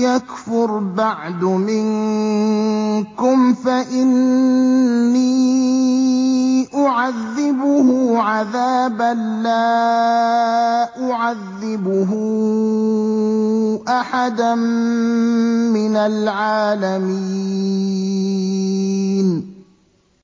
يَكْفُرْ بَعْدُ مِنكُمْ فَإِنِّي أُعَذِّبُهُ عَذَابًا لَّا أُعَذِّبُهُ أَحَدًا مِّنَ الْعَالَمِينَ